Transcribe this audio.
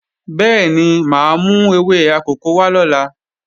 Bẹ́ẹ̀ni, máa mú ewé akòko wá lọ́la